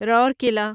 Rourkela